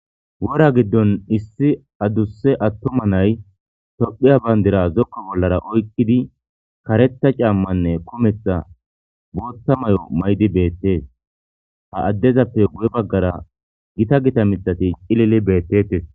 Wora giddon issi adusse attuma nay tophiya bayndira zokko bollara oykkidi kareta caammanne kumetha bootha may'o maydi beettees ha addezappe wuye baggara gita gita mitati cilili beettettes.